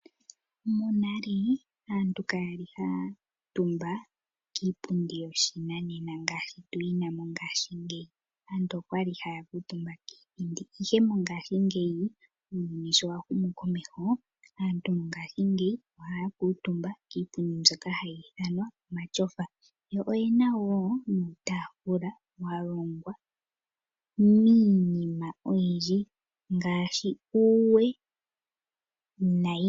Monale aantu Kaya li haa kuutumba kiipundi yoshinanena ngaashi tuyi na mongashingeyi, aantu okwali haa kuutumba kiithindi. Ihe mongashingeyi uuyuni sho wa humu komeho aantu mongashingeyi ohaa kutumba kiipundi mbyoka hayi ithanwa omatyofa. Yo oyena wo iitafula ya longwa miinima oyindji ngaashi uuwe nayilwe.